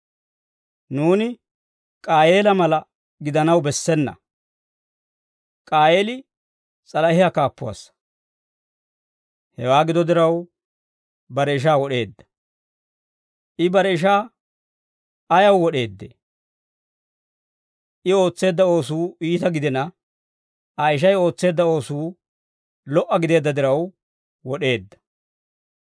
Nuuni K'aayeela mala gidanaw bessena. K'aayeeli s'alahiyaa kaappuwaassa; hewaa gido diraw, bare ishaa wod'eedda. I bare ishaa ayaw wod'eeddee? I ootseedda oosuu iita gidina, Aa ishay ootseedda oosuu lo"a gideedda diraw wod'eedda.